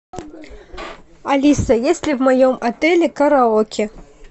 алиса есть ли в моем отеле караоке